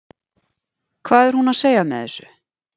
Hvað er hún að segja með þessu?